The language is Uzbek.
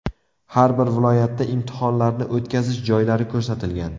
Har bir viloyatda imtihonlarni o‘tkazish joylari ko‘rsatilgan.